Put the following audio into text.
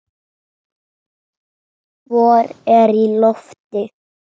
Vor er í lofti.